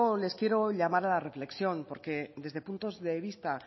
les quiero hoy llamar a la reflexión porque desde puntos de vista